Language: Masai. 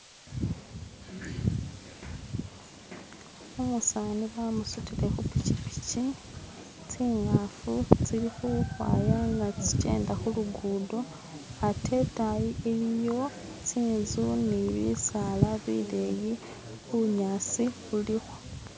u'musani ba'musutile khu'pikipiki, tsi'ngafu tsili'khukhwaya na'tsikyenda khu'lugudo atte i'tayi i'liyo tsi'nzu ni'bisaala bi'leyi bu'nyasi bu'liho